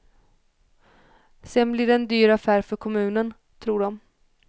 Sedan blir det en dyr affär för kommunen, tror de.